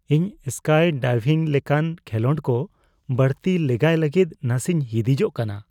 ᱤᱧ ᱥᱠᱟᱭ ᱰᱟᱭᱵᱷᱤᱝ ᱞᱮᱠᱟᱱ ᱠᱷᱮᱞᱳᱰ ᱠᱚ ᱵᱟᱹᱲᱛᱤ ᱞᱮᱜᱟᱭ ᱞᱟᱹᱜᱤᱫ ᱱᱟᱥᱮᱧ ᱦᱤᱫᱤᱡᱚᱜ ᱠᱟᱱᱟ ᱾